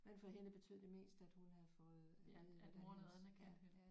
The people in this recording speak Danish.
Men for hende betød det mest at hun havde fået at vide at hendes ja